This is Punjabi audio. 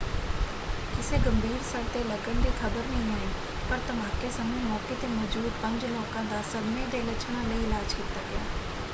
ਕਿਸੇ ਗੰਭੀਰ ਸੱਟ ਦੇ ਲੱਗਣ ਦੀ ਖ਼ਬਰ ਨਹੀਂ ਆਈ ਪਰ ਧਮਾਕੇ ਸਮੇਂ ਮੌਕੇ 'ਤੇ ਮੌਜੂਦ ਪੰਜ ਲੋਕਾਂ ਦਾ ਸਦਮੇ ਦੇ ਲੱਛਣਾਂ ਲਈ ਇਲਾਜ ਕੀਤਾ ਗਿਆ।